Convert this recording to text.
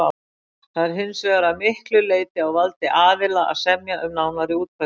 Það er hins vegar að miklu leyti á valdi aðila að semja um nánari útfærslu.